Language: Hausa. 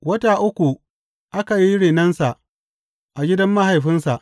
Wata uku aka yi renonsa a gidan mahaifinsa.